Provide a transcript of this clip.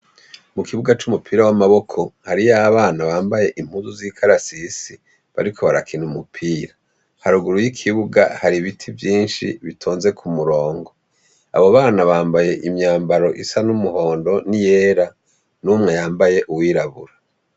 Mu kibuga c'umupira w'amaboko hariyo abana bambaye impuzu z'ikarasisi, bariko barakina umupira. Haruguru y'ikibuga hari ibiti vyinshi bitonze ku murongo. Abo bana bambaye imyambaro isa n'umuhondo n'iyera, n'umwe yambaye uwirabura.